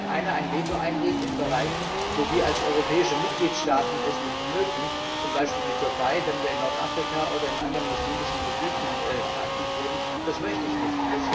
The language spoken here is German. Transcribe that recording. Es könnte also ein Staat in Bereichen ein Veto einlegen, wo wir als europäische Mitgliedstaaten es nicht mögen, also zum Beispiel die Türkei, wenn wir in Nordafrika oder in anderen muslimischen Gebieten aktiv würden das möchte ich nicht!